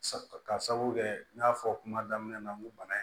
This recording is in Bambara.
Ka sabu kɛ n y'a fɔ kuma daminɛ na n ko bana in